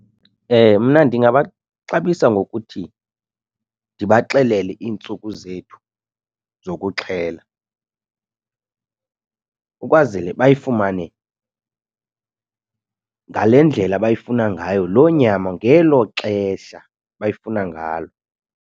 Mna ndingabaxabisa ngokuthi ndibaxelele iintsuku zethu zokuxhela ukwazele bayifumane ngale ndlela abayifuna ngayo loo nyama ngelo xesha bayifuna ngalo.